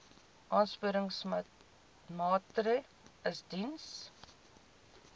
aansporingsmaatre ls diens